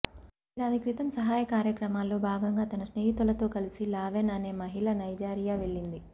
ఏడాదిక్రితం సహాయ కార్యక్రమాల్లో భాగంగా తన స్నేహితులతో కలసి లావెన్ అనే మహిళ నైజీరియా వెళ్ళింది